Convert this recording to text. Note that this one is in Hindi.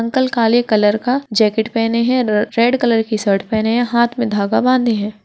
अंकल काले कलर का जेकेट पहनें हैं र-रेड कलर की शर्ट पहने हैं हाँथ में धागा बांधे हैं ।